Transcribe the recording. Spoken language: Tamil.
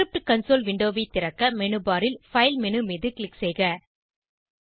ஸ்கிரிப்ட் கன்சோல் விண்டோவை திறக்க மேனு பார் ல் பைல் மேனு மீது க்ளிக் செய்க